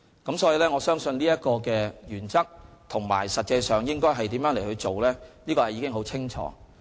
因此，我相信，有關原則和實際上應如何處事是十分清楚的。